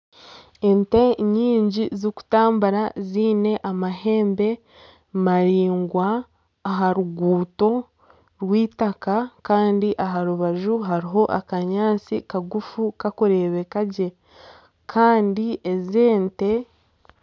Ente nyingi zirikutukura ziine amahembe maringwa aha ruguuto rw'eitaka kandi aha rubaju hariho akanyaatsi kagufu kakureebeka gye.